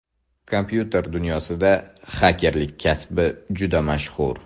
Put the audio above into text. Kompyuter dunyosida xakerlik kasbi juda mashhur.